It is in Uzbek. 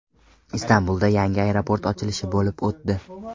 Istanbulda yangi aeroport ochilishi bo‘lib o‘tdi.